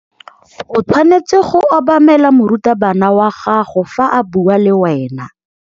O tshwanetse go obamela morutabana wa gago fa a bua le wena.